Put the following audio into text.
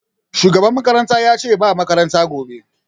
Shugaban makaranta yace ce ba makaranta gobe